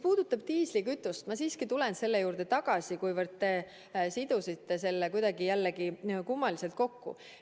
Diislikütust – ma siiski tulen selle juurde tagasi –, kuivõrd te sidusite selle kuidagi jälle kummaliselt kokku.